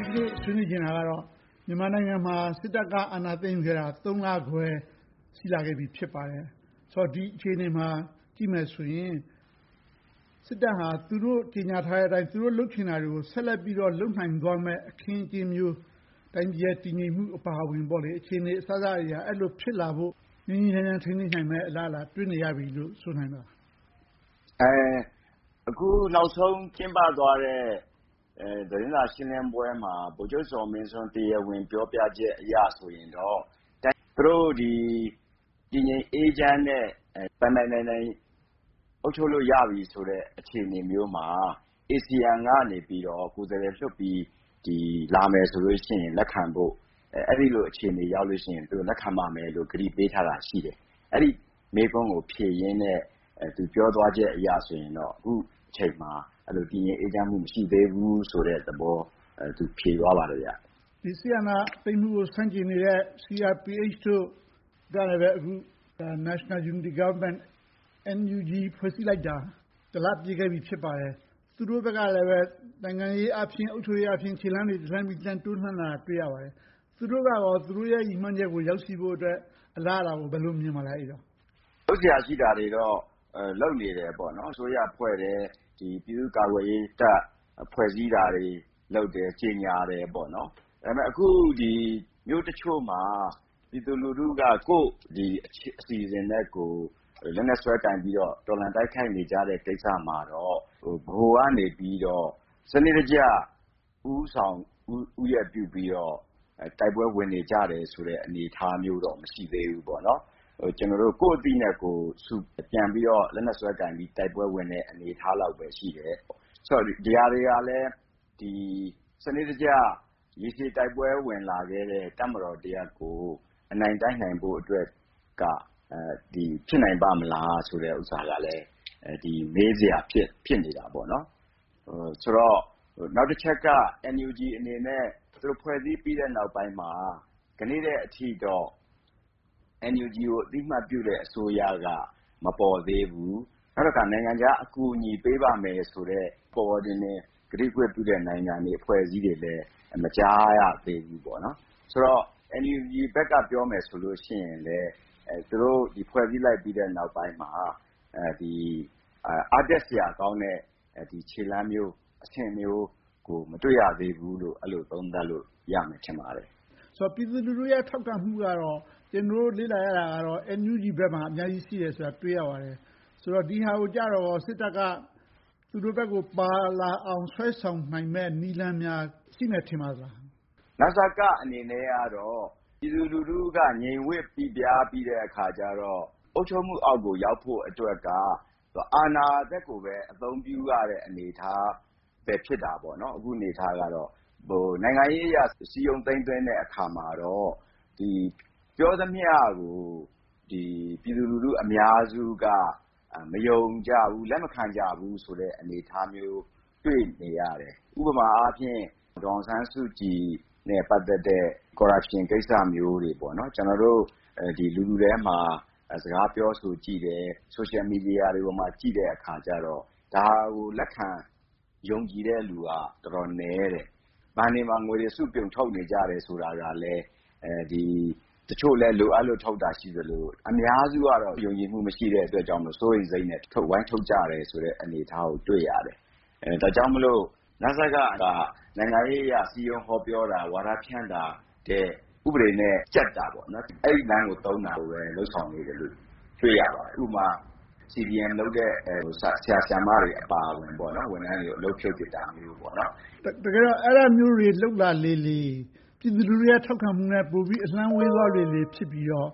ဒီနေ့ဆွေးနွေးချင်တာကတော့ မြန်မာနိုင်ငံမှာ စစ်တပ်က အာဏာသိမ်းခဲ့တာ လခွဲ ရှိလာခဲ့ပြီ ဖြစ်ပါတယ်။ ဆိုတော့ ဒီအခြေအနေကို ကြည့်မယ်ဆိုရင် စစ်တပ်ဟာ သူတို့ကြေညာထားတဲ့အတိုင်း၊ သူတို့လုပ်ချင်တာတွေကို ဆက်လက်ပြီးတော့ လုပ်နိုင်သွားမယ့် အခင်းအကျင်းမျိုး၊ တိုင်းပြည်ရဲ့ တည်ငြိမ်မှုအပါအဝင်၊ အခြေအနေ အစစအရာရာ ဖြစ်လာဖို့ ငြိမ်းငြိမ်းချမ်းချမ်း ထိန်းသိမ်းနိုင်မယ့် အလားအလာ တွေ့နေရပြီလို့ ဆိုနိုင်မလား။ အခုနောက်ဆုံး ကျင်းပသွားတဲ့ သတင်းစာရှင်းလင်းပွဲမှာ ဗိုလ်ချုပ်ဇော်မင်းထွန်း တရားဝင်ပြောကြားချက်အရ ဆိုရင်တော့ သူတို့အနေနဲ့ တည်ငြိမ်အေးချမ်းပြီး ပိုင်ပိုင်နိုင်နိုင် အုပ်ချုပ်လို့ရပြီဆိုတဲ့ အခြေအနေမျိုးမှာ ASEAN ကနေ ကိုယ်စားလှယ်လွှတ်ပြီး လာမယ်ဆိုလို့ရှိရင် လက်ခံဖို့ အဲဒီလိုအခြေအနေ ရောက်လို့ရှိရင် လက်ခံပါမယ်လို့ ကတိပေးထားတာ ရှိတယ်။ အဲဒီမေးခွန်းကို ဖြေရင်းနဲ့ သူပြောသွားချက်အရဆိုရင်တော့ အခုအချိန်မှာ တည်ငြိမ်အေးချမ်းမှု မရှိသေးဘူးဆိုတဲ့သဘော သူဖြေသွားပါတယ်။ စစ်အာဏာသိမ်းမှုကို ဆန့်ကျင်နေတဲ့ CRPH တို့ကလည်း အခုဆိုရင် National Unity Government ဖွဲ့စည်းလိုက်တာ လ ပြည့်ခဲ့ပြီ ဖြစ်ပါတယ်။ သူတို့ဘက်ကလဲ နိုင်ငံရေးအားဖြင့်၊ အုပ်ချုပ်ရေးအားဖြင့် ခြေလှမ်းတွေ တလှမ်းပြီးတလှမ်း တိုးလှမ်းလာတာကို တွေ့ရပါတယ်။ သူတို့ကရော သူတို့ရဲ့ ရည်မှန်းချက်ကို ရောက်ရှိဖို့အတွက် အလားအလာကို ဘယ်လိုမြင်ပါသလဲ။ လုပ်စရာရှိတာတွေတော့ လုပ်နေတယ်ပေါ့။ အစိုးရဖွဲ့တယ်။ ပြည်သူ့ကာကွယ်ရေးတပ် ဖွဲ့စည်းတာတွေ လုပ်တယ်။ ကြေညာတယ်။ ဒါပေမဲ့ အခုမြို့တချို့မှာ ပြည်သူလူထုတချို့က ကိုယ့်အစီအစဉ်နဲ့ကိုယ် လက်နက်စွဲကိုင်ပြီးတော့ တော်လှန်ဆွဲကိုင် တော်လှန်တိုက်ခိုက်နေကြတဲ့ကိစ္စမှာတော့ ဗဟိုကနေ စနစ်တကျ ဦးဆောင်ဦးရွက်ပြုပြီးတော့ တိုက်ပွဲဝင်နေကြတယ်ဆိုတဲ့ အနေအထားမျိုးတော့ မရှိသေးဘူး။ ကျနော်တို့ ကိုယ့်အသိနဲ့ကိုယ် လက်နက်ဆွဲကိုင်ပြီးတော့ တိုက်ပွဲဝင်နေတဲ့ အနေအထားလောက်ပဲ ရှိတယ်။ ဒီဟာတွေကလဲ စနစ်တကျ ရေရှည်တိုက်ပွဲဝင်လာခဲ့တဲ့ တပ်မတော်တရပ်ကို အနိုင်တိုက်နိုင်ဖို့က ဖြစ်နိုင်ပါ့မလားဆိုတာကလဲ မေးစရာ ဖြစ်နေတယ်။ ဆိုတော့ နောက်တချက်က NUG အနေနဲ့ သူတို့ဖွဲ့စည်းပြီးတဲ့နောက်ပိုင်းမှာ ဒီနေ့အထိတော့ NUG အသိအမှတ်ပြုတဲ့ အစိုးရက မပေါ်သေးဘူး။ နောက်တခါ နိုင်ငံခြားအကူအညီပေးပါ့မယ်ဆိုတဲ့ ပေါ်ပေါ်တင်တင် ကတိကဝတ်ပြုတဲ့ နိုင်ငံတွေ၊ အဖွဲ့အစည်းတွေလည်း မကြားရသေးဘူး။ ဆိုတော့ NUG ဘက်ကနေ ပြောမယ်ဆိုရင် သူတို့ဖွဲ့စည်းလိုက်ပြီး နောက်ပိုင်းမှာ အားတက်စရာကောင်းတဲ့ ခြေလှမ်းမျိုး အဆင့်မျိုးကို မတွေ့ရသေးဘူးလို့ အဲဒီလိုသုံးသပ်လို့ ရမယ်ထင်ပါတယ်။ ပြည်သူလူထုရဲ့ ထောက်ခံမှုကတော့ ကျနော်တို့ လေ့လာရသလောက် NUG ဘက်မှာ အများကြီးရှိတယ်ဆိုတာကို တွေ့ရပါတယ်။ ဒီဟာကိုကြတော့ စစ်တပ်က သူတို့ဘက်ကို ပါလာအောက် ဆွဲဆောင်နိုင်မယ့်နည်းလမ်းများ ရှိမယ်ထင်ပါသလား။ နစကအနေနဲ့တော့ ပြည်သူလူထုက ငြိမ်ဝပ်ပိပြားပြီးတော့ သူတို့အုပ်ချုပ်မှုအောက်ကို ရောက်ဖို့က အာဏာစက်ကိုပဲ အသုံးပြုရတဲ့ အနေအထားပဲ ဖြစ်နေတယ်။ အခုအနေအထားကတော့ နိုင်ငံရေးအရ စည်းရုံးသိမ်းသွင်းတဲ့အခါမှာတော့ ပြောသမျှကို ပြည်သူလူထု အများစုက မယုံကြဘူး၊ လက်မခံကြဘူးဆိုတဲ့ အနေအထားမျိုး တွေ့နေရတယ်။ ဥပမာအားဖြင့် ဒေါ်အောင်ဆန်းစုကြည်နဲ့ ပတ်သက်တဲ့ Corruption ကိစ္စမျိုးတွေကို ကျနော်တို့ လူထုထဲမှာ စကားပြောဆိုကြည့်တယ်။ Social Media တွေပေါ်မှာ ကြည့်တဲ့အခါကြတော့ ဒါကိုလက်ခံ ယုံကြည်တဲ့လူက တော်တော်နည်းတယ်။ ဘဏ်တွေမှာ ငွေတွေစုပြုံထုတ်နေတယ် ဆိုတာကလဲ တချို့လဲ လိုအပ်လို့ ထုတ်တာရှိသလို၊ အများစုကတော့ ယုံကြည်မှု မရှိတာကြောင့်လို့ စိုးရိမ်စိတ်နဲ့ ဝိုင်းထုတ်ကြတယ်ဆိုတဲ့ အနေအထားကို တွေ့ရတယ်။ ဒါကြောင့်မို့ နစက က နိုင်ငံရေးအရ စည်းရုံးဟောပြောတာ၊ ဝါဒဖြန့်တာထက် ဥပဒေနဲ့ကျပ်တဲ့လမ်းကိုပဲ သုံးတာကိုပဲ တွေ့ရပါတယ်။ ဥပမာ CDM လုပ်တဲ့ ဆရာ၊ ဆရာမတွေအပါအဝင် ဝန်ထမ်းတွေကို အလုပ်ဖြုတ်ပစ်တာမျိုး။ တကယ်တော့ အဲဒါမျိုးတွေ လုပ်လာလေလေ၊ ပြည်သူလူထု ထောက်ခံမှုနဲ့ ပိုပြီးအလှမ်းဝေးသွားလေလေ ဖြစ်ပြီးတော့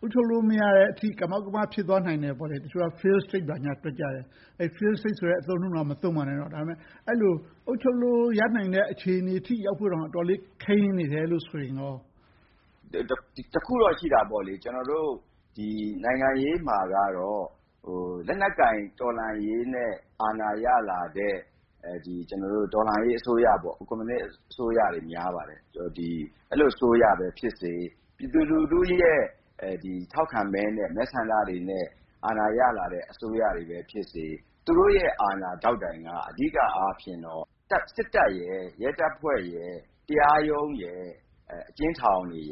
အုပ်ချုပ်လို့မရတဲ့အထိ ကမောက်ကမ ဖြစ်သွားနိုင်တယ်။ တချို့က Failed State ဘာညာတွက်ကြတယ်။ အဲဒီ Failed State အသုံးအနှုန်းတောင် မသုံးပါနဲ့တော့ ဒါပေမဲ့ အဲဒီလို အုပ်ချုပ်လို့ ရနိုင်တဲ့အခြေအနေထိ ရောက်ဖို့တောင် ခဲယဉ်းနေတယ်ဆိုရင်ကော။ တစ်ခုတော့ရှိတယ်။ ကျနော်တို့ နိုင်ငံရေးမှာတော့ လက်နက်ကိုင် တော်လှန်ရေးနဲ့ အာဏာရလာတဲ့ တော်လှန်ရေးအစိုးရ၊ ကွန်မြူနစ်အစိုးရတွေ များပါတယ်။ အဲဒီလို အစိုးရပဲဖြစ်စေ၊ ပြည်သူလူထုရဲ့ ထောက်ခံမဲနဲ့ မဲဆန္ဒတွေနဲ့ အာဏာရလာတဲ့ အစိုးရတွေဖြစ်စေ။ သူတို့ရဲ့အာဏာဒေါက်တိုင်က အဓိကအားဖြင့်တော့ စစ်တပ်၊ ရဲတပ်ဖွဲ့၊ တရားရုံး၊ အကျဉ်းထောင်တို့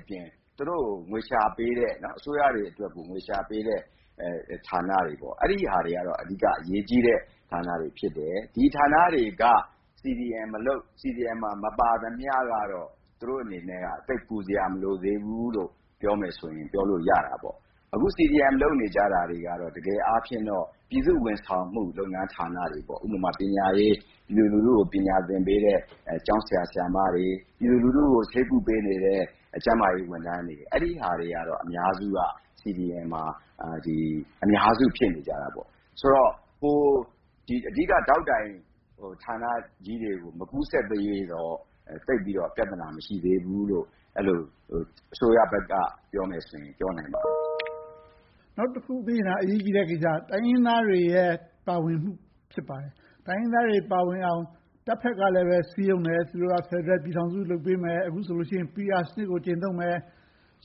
အပြင် သူတို့ကို ငွေရှာပေးတဲ့ အစိုးရတွေကို ငွေရှာပေးတဲ့ ဌာနတွေက အဓိက အရေးကြီးတဲ့ဌာနတွေ ဖြစ်တယ်။ ဒီဌာနတွေက CDM မှာ မပါသမျှတော့ သူတို့အနေနဲ့ သိပ်ပူစရာ မလိုသေးဘူးလို့ ပြောမယ်ဆိုရင် ပြောလို့ရတာပေါ့။ အခု CDM လုပ်နေကြတာတွေကတော့ တကယ်အားဖြင့်တော့ ပြည်သူဝန်ဆောင်မှု လုပ်ငန်းဌာနတွေ။ ဥပမာ ပညာရေး - ပြည်သူလူထုကို ပညာသင်ကြားပေးနေတဲ့ ဆရာ၊ ဆရာမတွေ၊ ပြည်သူလူထုကို ဆေးကုပေးနေတဲ့ ကျန်းမာရေးဝန်ထမ်းတွေ။ အဲဒါတွေကတော့ အများစုက CDM မှာ အများစု ဖြစ်နေကြတာပေါ့။ ဆိုတော့ အဓိကဒေါက်တိုင် ဌာနကြီးတွေကို မကူးစက်သရွေ့တော့ သိပ်ပြီးတော့ ပြဿနာ မရှိသေးဘူးလို့ အဲဒီလို အစိုးရဘက်က ပြောမယ်ဆိုရင် ပြောနိုင်ပါတယ်။ နောက်တခုသိချင်တာ အရေးကြီးတဲ့ကိစ္စ - တိုင်းရင်းသားတွေရဲ့ ပါဝင်မှု ဖြစ်ပါတယ်။ တိုင်းရင်းသားတွေ ပါဝင်လာအောင် တပ်ဘက်ကလဲ စည်းရုံးတယ်။ သူတို့က ဖယ်ဒရယ်ပြည်ထောင်စု လုပ်ပေးမယ်။ အခုဆိုရင် PR စနစ်ကို ကျင့်သုံးမယ်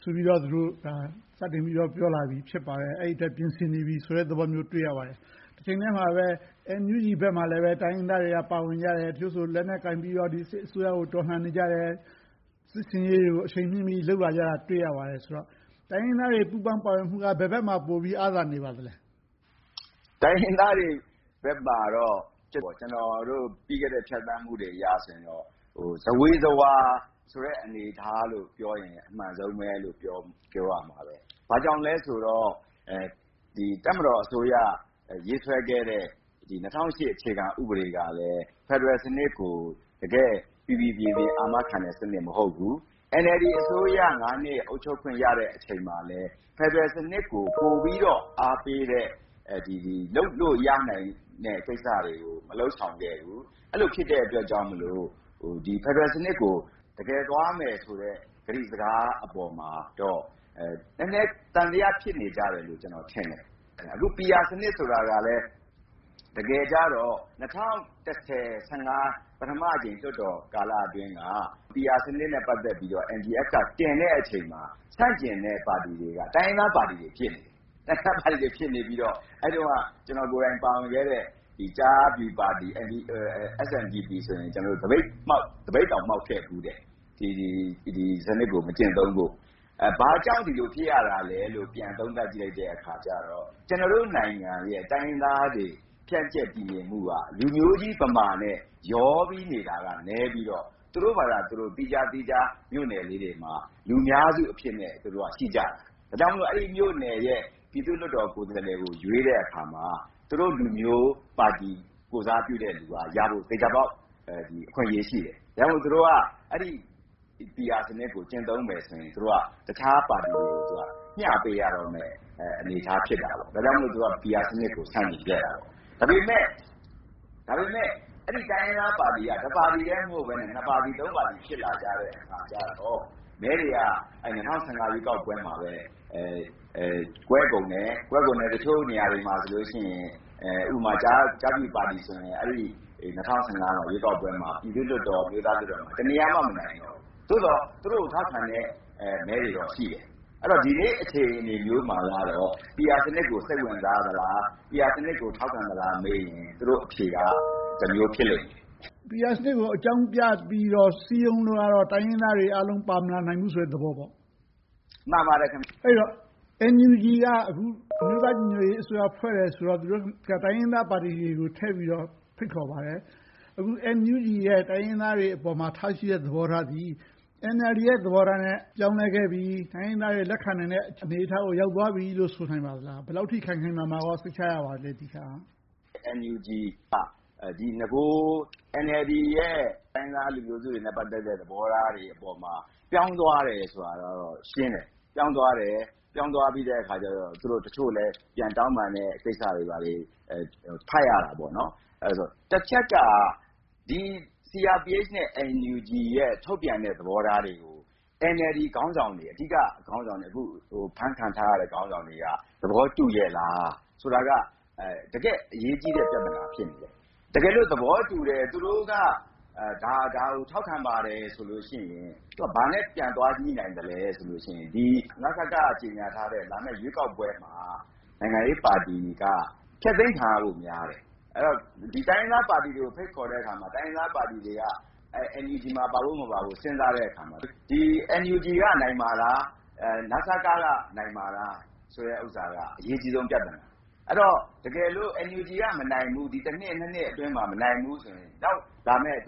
ဆိုပြီးတော့ စတင်ပြီးတော့ ပြောလာတယ်။ အဲဒီအတွက် ပြင်ဆင်နေပြီဆိုတဲ့ သဘောမျိုးကို တွေ့ရပါတယ်။ တချိန်တည်းမှာပဲ NUG ဘက်မှာလဲ တိုင်းရင်းသားတွေက ပါဝင်ကြတယ်။ တချို့ဆိုရင် လက်နက်ကိုင်ပြီးတော့ ဒီစစ်အစိုးရကို တော်လှန်နေကြတယ်။ စစ်ဆင်ရေးတွေကို အရှိန်မြှင့်ပြီးတော့ လုပ်နေကြတာကို တွေ့ရပါတယ်။ တိုင်းရင်းသားတွေ ပါဝင်ပူးပေါင်းမှုက ဘယ်ဘက်မှာ ပိုပြီးတော့ အားသာနေပါသလဲ။ တိုင်းရင်းသားတွေဘက်မှာတော့ ကျနော်တို့ ပြီးခဲ့တဲ့ ဖြတ်သန်းမှုတွေအရဆိုရင်တော့ ဇဝေဇဝါဆိုတဲ့ အနေအထားလို့ပြောရင် အမှန်ဆုံးလိုပဲ ပြောရမှာပဲ။ ဘာကြောင့်လဲဆိုတော့ တပ်မတော်အစိုးရ ရေးဆွဲခဲ့တဲ့ ၂၀၀၈ အခြေခံဥပဒေကလဲ ဖယ်ဒရယ်စနစ်ကို တကယ်ကို ပီပီပြင်ပြင် အာမခံတဲ့ စနစ်မဟုတ်ဘူး။ NLD အစိုးရ နှစ် အုပ်ချုပ်ခွင့်ရတဲ့ အချိန်မှာလဲ ဖယ်ဒရယ်စနစ်ကို ပိုပြီးတော့ အားပေးတဲ့၊ လုပ်လို့ရနိုင်တဲ့ ကိစ္စတွေကို မလုပ်ဆောင်ခဲ့ဘူး။ အဲဒီလို ဖြစ်တဲ့အတွက်ကြောင့်မို့ ဖယ်ဒရယ်စနစ်ကို တကယ်သွားမယ်ဆိုတဲ့ ကတိစကားအပေါ်မှာတော့ နည်းနည်းသံသယ ဖြစ်နေကြတယ်လို့ ကျနော်ထင်တယ်။ အခု PR စနစ်ဆိုတာကလဲ တကယ်ကြတော့ ၂၀၁၀ - ၂၀၁၅ ပထမအကြိမ် လွှတ်တော်ကာလအတွင်းက PR စနစ်နဲ့ ပတ်သက်ပြီးတော့ NDF တင်တဲ့အချိန်မှာ ဆန့်ကျင်တဲ့ပါတီတွေက တိုင်းရင်းသားပါတီတွေ ဖြစ်နေတယ်။ အဲဒီတုန်းက ကျနော်ကိုယ်တိုင် ပါဝင်ခွင့်ခဲ့တဲ့ ကျားဖြူပါတီ ဆိုရင် သပိတ်တောင် မှောက်ခဲ့ဖူးတယ်။ ဒီစနစ်ကို မကျင့်သုံးဖို့။ ဘာကြောင့် ဒီလိုဖြစ်ရသလဲလို့ ပြန်သုံးသပ်ကြည့်လိုက်တဲ့အခါကြတော့ ကျနော်တို့နိုင်ငံရဲ့ တိုင်းရင်းသားတွေ ဖြန့်ကျက်ပြီးနေမှုက လူမျိုးကြီးဗမာနဲ့ ရောပြီးတော့နေတာက နည်းပြီးတော့ သူတို့ဘာသာသူတို့ သီးခြားသီးခြား မြို့နယ်လေးတွေမှာ လူများစုအဖြစ်နဲ့ ရှိကြတာ။ ဒါကြောင့်မို့ အဲဒီမြို့နယ်ရဲ့ ပြည်သူ့လွှတ်တော် ကိုယ်စားလှယ်ကို ရွေးတဲ့အခါမှာ သူတို့လူမျိုးပါတီ ကိုယ်စားပြုတဲ့လူက သေချာပေါက်ရဖို့ အခွင့်အရေး ရှိတယ်။ ဒါကြောင့်မို့ သူတို့က အဲဒီ PR စနစ်ကို ကျင့်သုံးမယ်ဆိုရင် တခြားပါတီတွေကို မျှပေးရမယ့် အနေအထား ဖြစ်တယ်။ ဒါကြောင့်မို့ သူတို့က PR စနစ်ကို ဆန့်ကျင်ခဲ့တာ။ ဒါပေမဲ့ အဲဒီတိုင်းရင်းသားပါတီက တစ်ပါတီပဲ မဟုတ်ဘဲ၊ နှစ်ပါတီသုံးပါတီ ဖြစ်လာကြတဲ့အခါကြတော့ မဲတွေက ၂၀၁၅ ရွေးကောက်ပွဲမှာ ကွဲကုန်တယ်။ တချို့နေရာတွေမှာဆိုရင် ဥပမာ ကျားဖြူပါတီဆိုရင် ၂၀၁၅ ရွေးကောက်ပွဲမှာ ပြည်သူ့လွှတ်တော်၊ အမျိုးသားလွှတ်တော်မှာ တစ်နေရာမှ မနိုင်တော့ဘူး။ သို့သော် သူတို့ကို ထောက်ခံတဲ့ မဲတွေတော့ ရှိတယ်။ ဒီနေ့အချိန် အခြေအနေမျိုးမှာတော့ PR စနစ်ကို စိတ်ဝင်စားသလား၊ PR စနစ်ကို ထောက်ခံသလားမေးရင် သူတို့အဖြေက တမျိုးဖြစ်လိမ့်မယ်။ PR စနစ်ကို အကြောင်းပြပြီးတော့ စည်းရုံးလို့ကတော့ တိုင်းရင်းသားတွေ အကုန်လုံး ပါမလာနိုင်ဘူးဆိုတဲ့ သဘောပေါ့။ အဲဒီတော့ NUG က အခု အမျိုးသားညီညွှတ်ရေးအစိုးရ ဖွဲ့တယ်ဆိုတော့ တိုင်းရင်းသားပါတီတွေကို ထည့်ပြီးတော့ ဖိတ်ခေါ်ပါတယ်။ အခု NUG ရဲ့ တိုင်းရင်းသားတွေအပေါ် ထားရှိတဲ့သဘောထားသည်၊ NLD ရဲ့ သဘောထားနဲ့ ပြောင်းလဲခဲ့ပြီ၊ တိုင်းရင်းသားတွေ လက်ခံနိုင်တဲ့ အနေအထားကို ရောက်သွားပြီလို့ ဆိုနိုင်သလား။ ဒီတခါ ဘယ်လောက်အထိ ခိုင်ခိုင်မာမာ စိတ်ချရပြီလဲ။ NUG က နဂို NLD ရဲ့ တိုင်းရင်းသားလူမျိုးစုတွေနဲ့ ပတ်သက်တဲ့ သဘောထားတွေအပေါ်မှာ ပြောင်းသွားတယ်ဆိုတာကတော့ ရှင်းတယ်။ ပြောင်းသွားပြီးတဲ့အခါကြတော့ တချို့လဲ ပြန်တောင်းပန်တဲ့ကိစ္စတွေကို ဖတ်ရတာပေါ့။ တချက်က CRPH နဲ့ NUG ရဲ့ ထုတ်ပြန်တဲ့ သဘောထားတွေကို NLD ခေါင်းဆောင်တွေ။ အဓိကခေါင်းဆောင်တွေ၊ အခု အဖမ်းခံထားရတဲ့ ခေါင်းဆောင်တွေက သဘောတူရဲ့လားဆိုတာက တကယ့်အရေးကြီးတဲ့ ပြဿနာ ဖြစ်နေတယ်။ တကယ်လို့ သဘောတူတယ်၊ သူတို့က ဒါကို ထောက်ခံပါတယ်ဆိုလို့ရှိရင် ဘာနဲ့ပြန်သွားငြိ့နိုင်သလဲဆိုရင် နစက က ကြေညာထားတဲ့ လာမယ့်ရွေးကောက်ပွဲမှာ နိုင်ငံရေးပါတီက ဖျက်သိမ်းခံရဖို့များတယ်။ တိုင်းရင်းသားပါတီတွေကို ဖိတ်ခေါ်တဲ့အခါမှာ တိုင်းရင်းသားပါတီတွေက NUG မှာ ပါဖို့မပါဖို့ စဉ်းစားတဲ့အခါမှာ NUG က နိုင်မှာလား၊ နစက က နိုင်မှာလား ဆိုတဲ့အချက်က အရေးကြီးဆုံးပြဿနာ။ အဲဒီတော့ NUG က မနိုင်ဘူး - ဒီ နှစ် နှစ်အတွင်းမှာ မနိုင်ဘူးဆိုရင် နောက်လာမယ့် က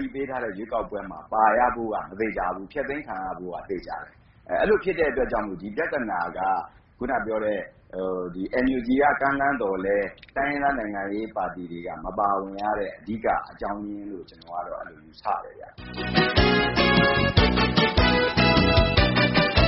တိပေးထားတဲ့ ရွေးကောက်ပွဲမှာ ပါရဖို့က မသေချာဘူး။ ဖျက်သိမ်းခံရဖို့က သေချာတယ်။ အဲဒီလို ဖြစ်တဲ့အတွက်ကြောင့်မို့ ဒီပြဿနာက အခုနပြောတဲ့ NUG က ကမ်းလှမ်းပေမယ့် တိုင်းရင်းသားနိုင်ငံရေးပါတီတွေက မပါဝင်ရတဲ့ အဓိကအကြောင်းရင်းလို့ ကျနော်ကတော့ အဲဒီလို ယူဆပါတယ်။